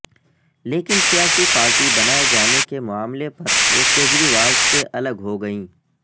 لیکن سیاسی پارٹی بنائے جانے کے معاملے پر وہ کیجریوال سے الگ ہو گئیں